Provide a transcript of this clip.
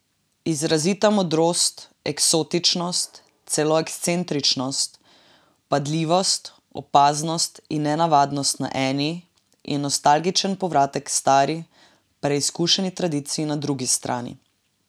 Izrazita modnost, eksotičnost, celo ekscentričnost, vpadljivost, opaznost in nenavadnost na eni in nostalgičen povratek k stari, preizkušeni tradiciji na drugi strani.